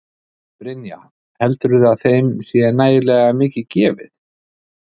Brynja: Heldurðu að þeim sé nægilega mikið gefið?